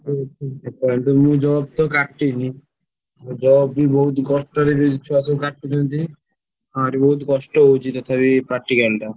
କାଲିଠୁ ତ job ମୁଁ କାଟିନି job ବି ବହୁତ କଷ୍ଟରେ ଛୁଆ ସବୁ କାଟୁଛନ୍ତି ହଁ ରେ ବହୁତ କଷ୍ଟ ହଉଛି ତଥାପି practical ଟା।